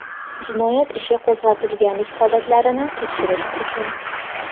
jinoyat ishi qo‘zg‘atilganlik holatlarini tekshirish uchun;.